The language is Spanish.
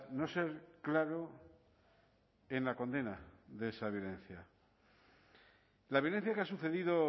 no ser claro en la condena de esa violencia la violencia que ha sucedido